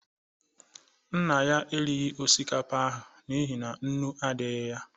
Nna ya erighi osikapa ahụ n'ihi na nnu adaghị ya